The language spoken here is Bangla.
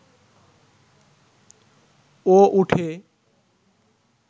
ও উঠে